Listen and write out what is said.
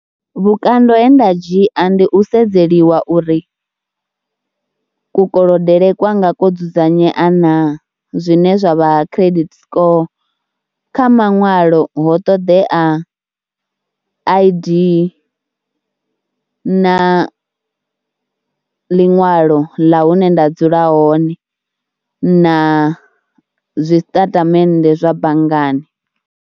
Vhukando he nda dzhia ndi u sedzeliwa uri kukolodele kwanga ko dzudzanyea naa, zwine zwa vha credit score kha maṅwalo ho ṱoḓea I_D na ḽiṅwalo ḽa hune nda dzula hone, na zwisitatamennde zwa banngani.